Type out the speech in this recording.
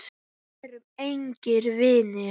Við erum engir vinir.